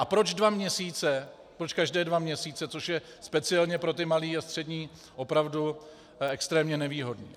A proč dva měsíce, proč každé dva měsíce, což je speciálně pro ty malé a střední opravdu extrémně nevýhodné.